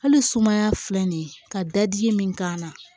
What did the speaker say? Hali sumaya filɛ nin ye ka da di min k'an na